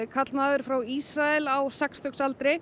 karlmaður frá Ísrael á sextíu aldri